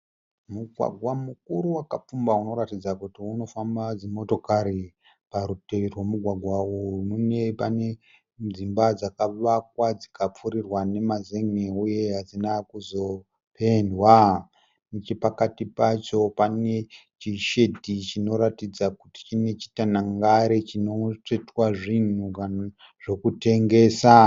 Mugwagwa mukuru wakapfumba unoratidza kuti unofamba dzimotokari. Parutivi rwomugwagwa uyu mune pane dzimba dzakavakwa dzikapfurirwa nemazen'e uye hadzina kuzopendwa. Nechepakati pacho pane chishedhi chinoratidza kuti chine chitanhangari chinotsvetwa zvinhu zvokutengesa.